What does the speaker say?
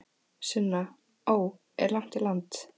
Sunna: Ó, er langt í land?